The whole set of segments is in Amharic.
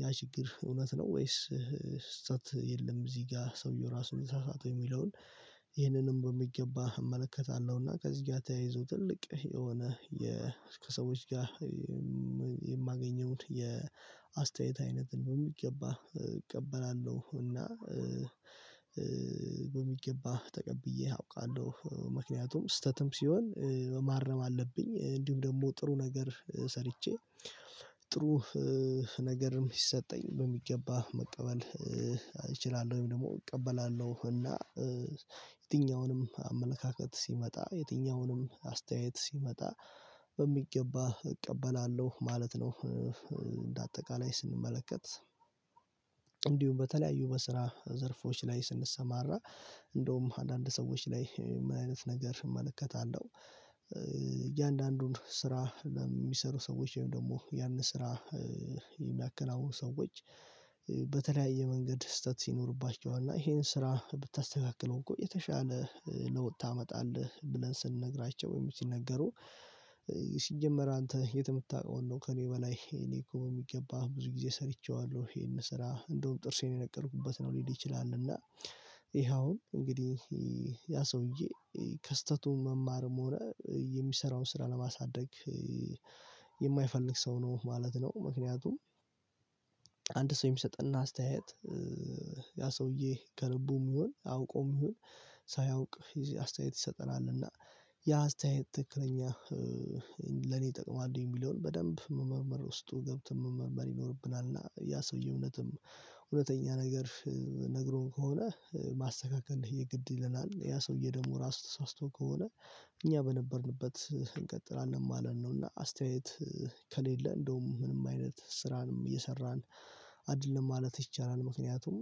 ያ ችግር እውነት ነው። ወይስ ስተት የለም? እዚህ ጋ ሰውየው ራሱን የተሳሳተው የሚለውን ይህንንም በሚገባ እመለከታለሁ። እና ከዚህ ጋ ተያይዞ ትልቅ የሆነ የ ከሰዎች ጋ የማገኘውን የአስተያየት አይነትን በሚገባ እቀበላለሁ። እና በሚገባ ተቀብዬ አውቃለሁ ምክንያቱም ስተትም ሲሆን ማረም አለብኝ። እንዲሁም ደሞ ጥሩ ነገር ሰርቼ ጥሩ ነገርም ይሰጠኝ በሚገባ መቀበል እችላለሁ። ወይም ደሞ እቀበላለሁ እና የትኛውንም አመለካከት ሲመጣ የትኛውንም አስተያየት ሲመጣ በሚገባ እቀበላለሁ ማለት ነው። እንደ አጠቃላይ ስንመለከት እንዲውም በተለያዩ በስራ ዘርፎች ላይ ስንሰማራ እንዳውም አንዳንድ ሰዎች ላይ ምን አይነት ነገር እመለከታለሁ? እያንዳንዱን ስራ ለሚሰሩ ሰዎች ወይም ደሞ ያንን ስራ የሚያከናውኑ ሰዎች በተለያየ መንገድ ስተት ሲኖርባቸው እና እሄን ስራ ብታስተካክለው እኮ የተሻለ ለውጥ ታመጣለህ። ብለን ስንነግራቸው ወይም ሲነገሩ ሲጀመር አንተ የት ምታውቀውን ነው? ከእኔ በላይ እኔ እኮ በሚገባ ብዙ ግዜ ሰርቼዋለሁ እሄን ስራ እንደውም ጥርሴን የነቀልኩበት ነው ሊል ይችላል። እና እሄ አሁን እንግዲህ ያ ሰውዬ ከስህተቱም መማርም ሆነ የሚሰራው ስራ ለማሳደግ የማይፈልግ ሰው ነው ማለት ነው። ምክንያቱም አንድ ሰው የሚሰጥና አስተያየት ያ ሰውዬ ከልቡም ይሁን አውቆም ይሁን ሳያውቅ አስተያየት ይሰጠናል እና ያ አስተያየት ትክክለኛ ለኔ ይጠቅማሉ የሚለውን በደንብ መመርመር ውስጡ ገብተን መመርመር ይኖርብናል። እና ያ ሰውዬ እውነትም እውነተኛ ነገር ነግሮን ከሆነ ማስተካከል የግድ ይለናል። ያ ሰውዬ ደሞ ራሱ ተሳስቶ ከሆነ እኛ በነበርንበት እንቀጥላለን ማለት ነው። እና አስተያየት ከሌለ እንደውም ምንም አይነት ስራንም እየሰራን አደለም ማለት ይቻላል። ምክንያቱም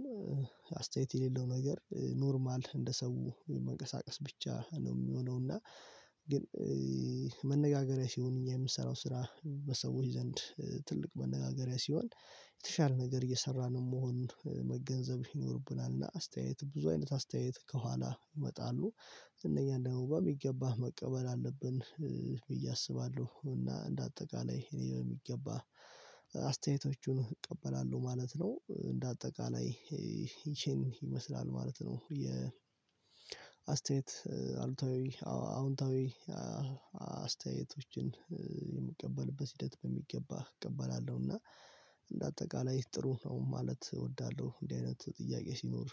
አስተያየት የሌለው ነገር ኖርማል እንደ ሰው መንቀሳቀስ ብቻ ነው ሚሆነው። እና ግን መነጋገሪያ ሲሆን እኛ የምሰራው ስራ በሰዎች ዘንድ ትልቅ መነጋገሪያ ሲሆን የተሻለ ነገር እየሰራንም መሆን መገንዘብ ይኖርብናል። እና አስተያየት ብዙ አይነት አስተያየት ከኋላ ይመጣሉ። እነኛ ደግሞ በሚገባህ መቀበል አለብን ብዬ አስባለሁ። እና እንደ አጠቃላይ እኔ በሚገባ አስተያየቶቹን እቀበላለሁ ማለት ነው። እንደ አጠቃላይ ይቺን ይመስላል ማለት ነው። የ አስተያየት አሉታዊ አዎንታዊ አስተያየቶችን የሚቀበልበት ሂደት በሚገባ እቀበላለሁ። እና እንደ አጠቃላይ ጥሩ ነው ማለት እወዳለሁ። እንዲህ አይነት ጥያቄ ሲኖር